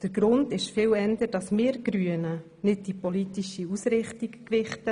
Der Grund ist vielmehr, dass wir Grüne nicht die politische Ausrichtung gewichten.